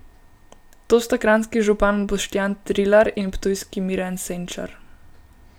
To sta kranjski župan Boštjan Trilar in ptujski Miran Senčar.